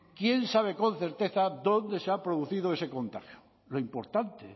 quién sabe con certeza dónde se ha producido ese contagio lo importante